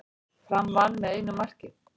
Fram vann með einu marki